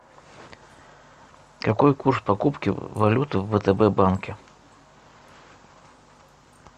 какой курс покупки валюты в втб банке